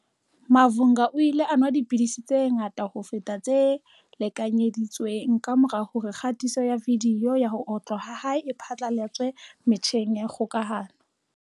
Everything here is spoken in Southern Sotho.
Mavhunga o ile a nwa dipidisi tse ngata ho feta tse lekanyedi tsweng kamora hore kgatiso ya vidiyo ya ho otlwa ha hae e phatlalatswe metjheng ya kgokahano.